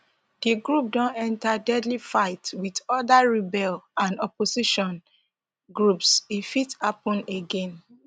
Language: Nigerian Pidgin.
di group don enta deadly fights wit oda rebel and opposition groups e fit happun again